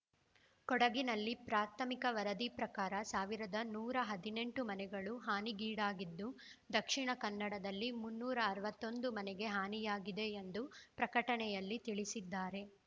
ಕೊಡಗಿನಲ್ಲಿ ಪ್ರಾಥಮಿಕ ವರದಿ ಪ್ರಕಾರ ಸಾವಿರದ ನೂರ ಹದಿನೆಂಟು ಮನೆಗಳು ಹಾನಿಗೀಡಾಗಿದ್ದು ದಕ್ಷಿಣ ಕನ್ನಡದಲಿ ಮುನ್ನೂರ ಅರವತ್ತೊಂದು ಮನೆಗೆ ಹಾನಿಯಾಗಿದೆ ಎಂದು ಪ್ರಕಟಣೆಯಲ್ಲಿ ತಿಳಿಸಿದ್ದಾರೆ